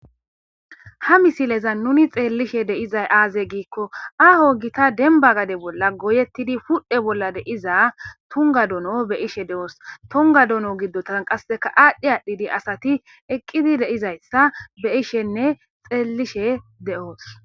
ha misileza nuni xeellishe de'izay aaze giikko aho gita denba gade bolla goyettidi pudhe bolla deiza tonga dono be ishe de7oos tonga dono giddotan qasseka aadhdhe aadhdhidi asati eqqidi de'izayssa be ishenne xeellishe de'os